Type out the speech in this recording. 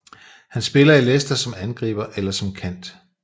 Han spiller i Leicester som angriber eller som kant